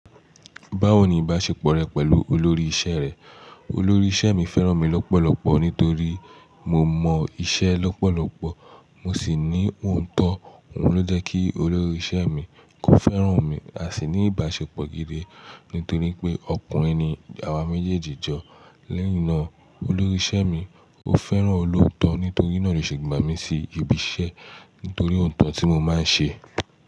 Báwo ni ìbáṣepọ̀ rẹ pẹ̀lú olórí ìṣe rẹ? Olórí ìṣe mi fẹ́ràn mi lọ́pọ̀lọpọ̀ nítorí mo mọ ìṣe lọ́pọ̀lọpọ̀ mo sì ní ootọ. Òhun ló jẹ́ kí olórí ìṣe mi kó fẹ́ràn mi, a sì ní ìbáṣepọ̀ gidi nítorí pé ọkùnrin ni àwa méjèèjì jọ. Lẹ́yìn náà, olórí ìṣe mi ó fẹ́ràn olóòótọ́ nítorí náà ló ṣe gbà mí sí ibi iṣẹ́ nítorí òótọ́ tí mo máa ń ṣe.